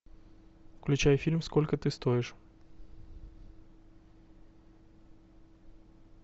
включай фильм сколько ты стоишь